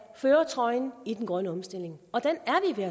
førertrøjen i den grønne omstilling og den